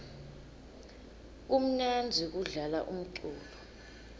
kumnandzi kudlala umculo